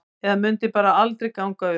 Eða mundi þetta bara aldrei ganga upp?